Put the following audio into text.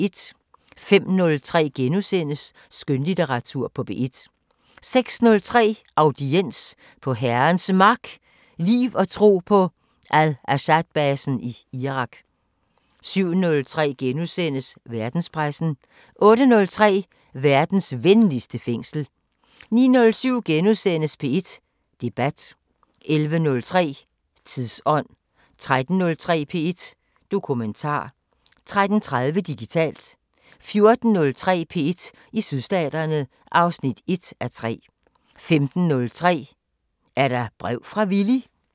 05:03: Skønlitteratur på P1 * 06:03: Audiens: På Herrens Mark – liv og tro på Al-Asadbasen i Irak 07:03: Verdenspressen * 08:03: Verdens venligste fængsel 09:07: P1 Debat * 11:03: Tidsånd 13:03: P1 Dokumentar 13:30: Digitalt 14:03: P1 i Sydstaterne (1:3) 15:03: Er der brev fra Villy?